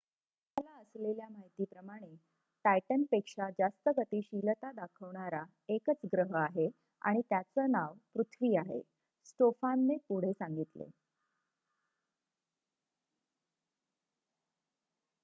आम्हाला असलेल्या माहितीप्रमाणे टायटनपेक्षा जास्त गतिशीलता दाखवणारा एकच ग्रह आहे आणि त्याचे नाव पृथ्वी आहे स्टोफानने पुढे सांगितले